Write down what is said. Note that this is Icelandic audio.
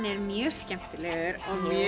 er mjög skemmtilegur